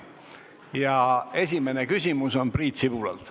Ja esimene küsimus on Priit Sibulalt.